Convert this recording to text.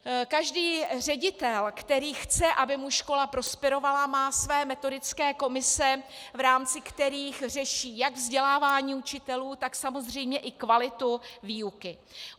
Každý ředitel, který chce, aby mu škola prosperovala, má své metodické komise, v rámci kterých řeší jak vzdělávání učitelů, tak samozřejmě i kvalitu výuky.